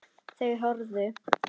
Þau horfðu.